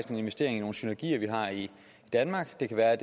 en investering i nogle synergier der er i danmark det kan være